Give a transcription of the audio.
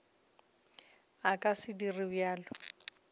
a ka se dire bjalo